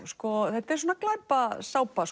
þetta er